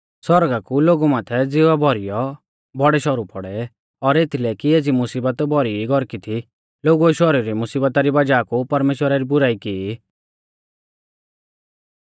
सौरगा कु लोगु माथै ज़िवा भौरीयौ बौड़ै शौरु पौड़ै और एथीलै कि एज़ी मुसीबत भौरी ई गौरकी थी लोगुऐ शौरु री मुसीबता री वज़ाह कु परमेश्‍वरा री बुराई कौरी